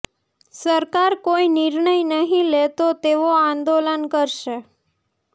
સરકાર કોઈ નિર્ણય નહીં લે તો તેઓ આંદોલન કરશે